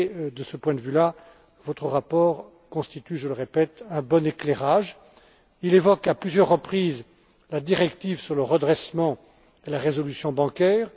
De ce point de vue là, votre rapport constitue je le répète un bon éclairage. Il évoque, à plusieurs reprises, la directive sur le redressement et la résolution bancaires.